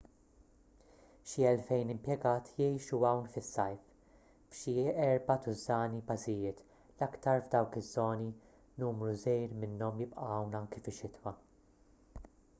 xi elfejn impjegat jgħixu hawn fis-sajf f'xi erba' tużżani bażijiet l-aktar f'dawk iż-żoni numru żgħir minnhom jibqa' hawn anki fix-xitwa